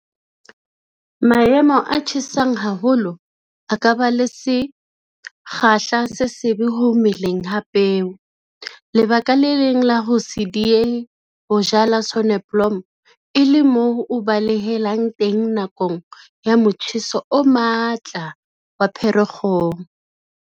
Maemo a tjhesang haholo a ka ba le sekgahla se sebe ho meleng ha peo - lebaka le leng la ho se diehe ho jala soneblomo e le moo o balehelang teng nakong ya motjheso o matla wa Pherekgong.